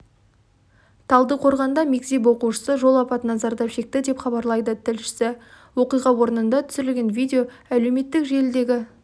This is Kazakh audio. талдықорғанда мектеп оқушысы жол апатынан зардап шекті деп хабарлайды тілшісі оқиға орнында түсірілген видео әлеуметтік желідегі